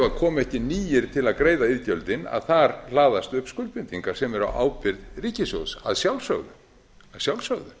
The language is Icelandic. að ef ekki komu nýir til að greiða iðgjöldin að þar hlaðast upp skuldbindingar sem eru á ábyrgð ríkissjóðs að sjálfsögðu